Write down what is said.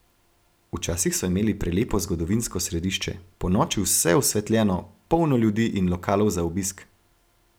Včasih so imeli prelepo zgodovinsko središče, ponoči vse osvetljeno, polno ljudi in lokalov za obisk.